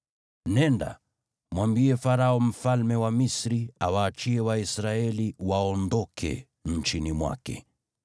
“Nenda, mwambie Farao mfalme wa Misri awaachie Waisraeli waondoke nchini mwake.”